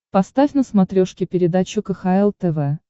поставь на смотрешке передачу кхл тв